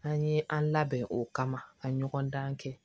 An ye an labɛn o kama ka ɲɔgɔn dan kɛ